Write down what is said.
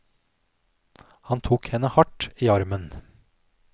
Han tok henne hardt i armen.